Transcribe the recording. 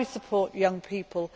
How do we support young people?